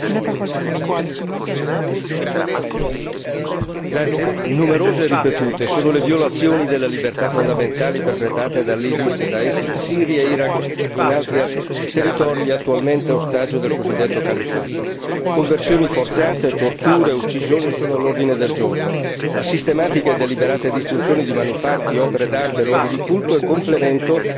Signora Presidente, onorevoli colleghi, numerose e ripetute sono le violazioni delle libertà fondamentali perpetrate dall'Isis Da'esh in Siria, Iraq e in altri territori attualmente ostaggio del cosiddetto Califfato. Conversioni forzate, torture, uccisioni sono all'ordine del giorno. La sistematica e deliberata distruzione di manufatti, opere d'arte e luoghi di culto è complemento